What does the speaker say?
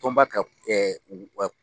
Tɔnba ka